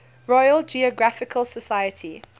royal geographical society